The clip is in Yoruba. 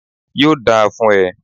Yóò dáa fún e